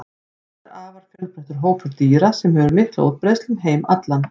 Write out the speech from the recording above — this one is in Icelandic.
Þetta er afar fjölbreyttur hópur dýra sem hefur mikla útbreiðslu um heim allan.